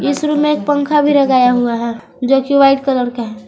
इस रूम में एक पंखा भी लगाया हुआ हैं जो कि व्हाईट कलर का है।